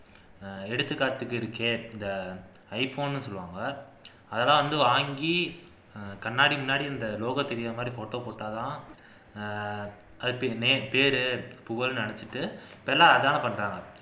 எடுத்துக்காட்டுக்கு இருக்கே இந்த ஐபோன்னு சொல்லுவாங்க அதெல்லாம் வந்து வாங்கி கண்ணாடி முன்னாடி இந்த logo தெரியிற மாதிரி photo போட்டாதான் பேர் புகழ்ன்னு நினைச்சுட்டு இப்ப எல்லாம் அதான பண்றாங்க